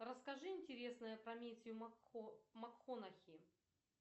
расскажи интересное про мэттью макконахи